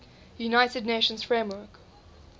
united nations framework